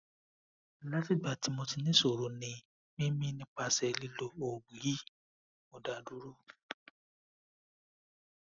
lati igba ti mo ni isoroni mimi nipase lilo oogun yi mo da duro